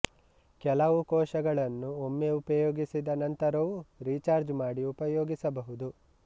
ಕೆಲವು ಕೋಶಗಳನ್ನು ಒಮ್ಮೆ ಉಪಯೋಗಿಸಿದ ನಂತರವೂ ರೀಚಾರ್ಜ್ ಮಾಡಿ ಉಪಯೋಗಿಸಬಹುದು